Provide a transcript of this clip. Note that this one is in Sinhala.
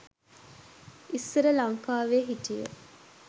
ඉස්සර ලංකාවෙ හිටිය